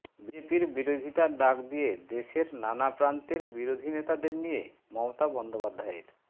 বিজেপির বিরোধিতার ডাক দিয়ে দেশের নানা প্রান্তের বিরোধী নেতাদের নিয়ে মমতা বন্দ্যোপাধ্যায়ের